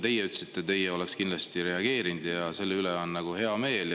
Teie ütlesite, et teie oleksite kindlasti reageerinud, ja selle üle on hea meel.